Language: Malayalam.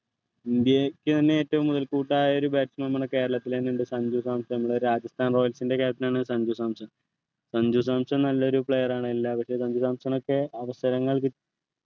ഇന്ത്യക്ക് തന്നെ ഏറ്റവും മുതൽക്കൂട്ടായ batsman ആണ് കേരളത്തിലെന്നെ ഉണ്ട് സഞ്ജു സാംസൺ മ്മളെ രാജസ്ഥാൻ royals ൻ്റെ captain ആണ് സഞ്ജു സാംസൺ സഞ്ജു സാംസൺ നല്ലൊരു player ആണ് എല്ലാ സഞ്ജു സാംസൺഒക്കെ അവസരങ്ങൾ കി